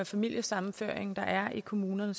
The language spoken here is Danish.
familiesammenføringer der er i kommunerne